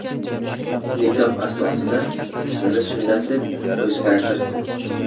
Nikoh asnosida ismini Sunnat deb o‘zgartirdi.